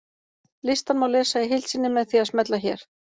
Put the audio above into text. Listann má lesa í heild sinni með því að smella hér.